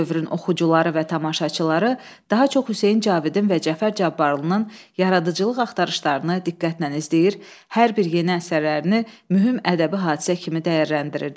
O dövrün oxucuları və tamaşaçıları daha çox Hüseyn Cavidin və Cəfər Cabbarlının yaradıcılıq axtarışlarını diqqətlə izləyir, hər bir yeni əsərlərini mühüm ədəbi hadisə kimi dəyərləndirirdi.